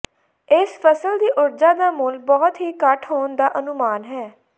ਇਸ ਫਸਲ ਦੀ ਊਰਜਾ ਦਾ ਮੁੱਲ ਬਹੁਤ ਹੀ ਘੱਟ ਹੋਣ ਦਾ ਅਨੁਮਾਨ ਹੈ